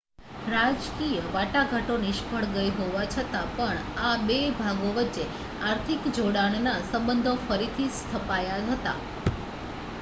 રાજકીય વાટાઘાટો નિષ્ફ્ળ ગઈ હોવા છતાં પણ આ 2 ભાગો વચ્ચે આર્થિક જોડાણના સબંધો ફરીથી સ્થપાયા હતા